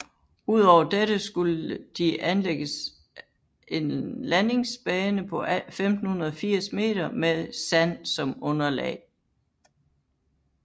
Udover dette skulle de anlægges en landingsbane på 1580 meter med sand som underlag